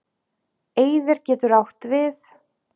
Eyðir getur átt við